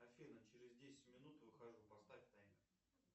афина через десять минут выхожу поставь таймер